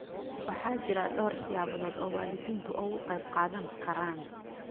Waxaa jira dhowr siyaabood oo waalidiintu uga qayb qaadan karaan.